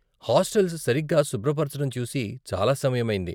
Hostels సరిగ్గా శుభ్రపరచటం చూసి చాలా సమయమైంది.